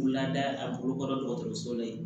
Lada a bolo kɔrɔ dɔgɔtɔrɔso la yen